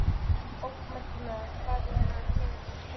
En bókmenntirnar, hvað er að gerast í þeim?